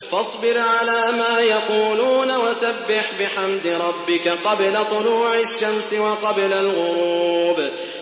فَاصْبِرْ عَلَىٰ مَا يَقُولُونَ وَسَبِّحْ بِحَمْدِ رَبِّكَ قَبْلَ طُلُوعِ الشَّمْسِ وَقَبْلَ الْغُرُوبِ